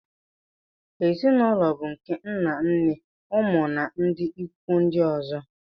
ezi na ụlọ bụ nke nna nne ụmụ na ndị ikwu ndị ọzọ